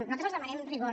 nosaltres els demanem rigor